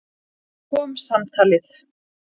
Loks kom samtalið.